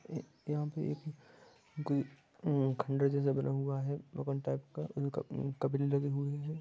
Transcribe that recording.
यहाँ पे एक कोई हम्म खंडर जैसा बना हुआ है भवन टाइप का इनका लगे हुए है ।